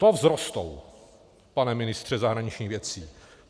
To vzrostou, pane ministře zahraničních věcí!